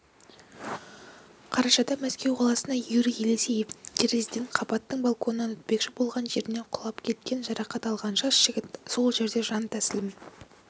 қарашада мәскеу қаласында юрий елисеев терезеден қабаттың балконына өтпекші болған жерінен құлап кеткен жарақат алған жас жігіт сол жерде жан тәсілім